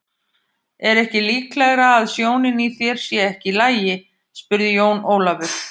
Er ekki líklegara að sjónin í þér sé ekki í lagi spurði Jón Ólafur.